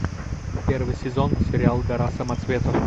первый сезон сериал гора самоцветов